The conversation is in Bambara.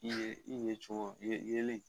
I ye i yecogo yeli